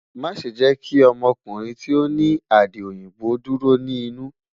Maṣe jẹ ki ọmọkunrin ti o ni adi oyinbo duro ni inu